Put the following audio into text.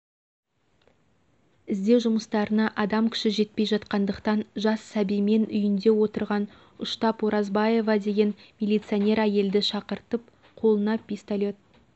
іздеу жұмыстарына адам күші жетпей жатқандықтан жас сәбимен үйінде отырған ұштап оразбаева деген милиционер әйелді шақыртып қолына пистолет